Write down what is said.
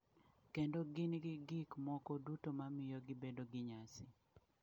Kendo gin gi gik moko duto ma miyo gibedo gi nyasi.